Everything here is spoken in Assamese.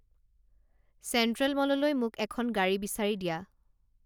চেণ্ট্ৰেল মললৈ মোক এখন গাড়ী বিচাৰি দিয়া